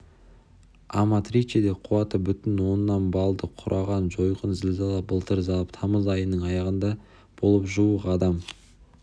аматричеде қуаты бүтін оннан баллды құраған жойқын зілзала былтыр тамыз айының аяғында болып жуық адам